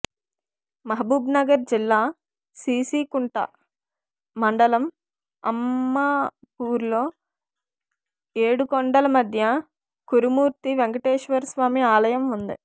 మహబూబ్నగర్ జిల్లా సీసీకుంట మండలం అమ్మాపూర్లో ఏడు కొండల మధ్య కురుమూర్తి వెంకటేశ్వరస్వామి ఆలయం ఉంది